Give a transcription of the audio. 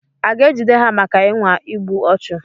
A ga-ejide ha maka ịnwa igbu ọchụ?